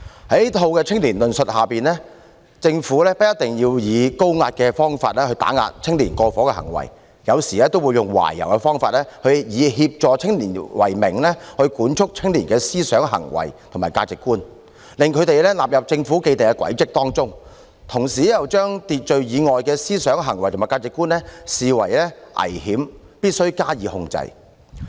在這套青年論述下，政府不一定要以高壓的方法打壓青年過火的行為，有時也會用懷柔的方法，以協助青年為名，管束青年人的思想、行為和價值觀，把他們納入政府的既定軌跡之中，同時又將秩序以外的思想、行為和價值觀視為危險，必須加以控制。